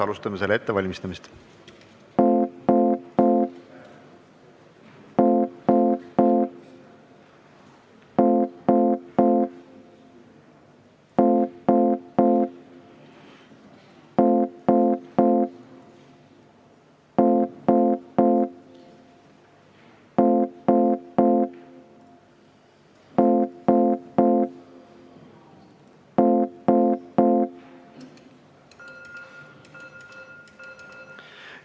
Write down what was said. Alustame selle ettevalmistamist.